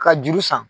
Ka juru san